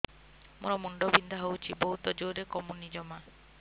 ମୋର ମୁଣ୍ଡ ବିନ୍ଧା ହଉଛି ବହୁତ ଜୋରରେ କମୁନି ଜମା